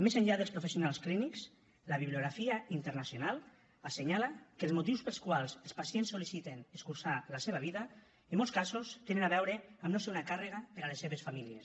més enllà dels professionals clínics la bibliografia internacional assenyala que els motius pels quals els pacients sol·liciten escurçar la seva vida en molts casos tenen a veure amb no ser una càrrega per a les seves famílies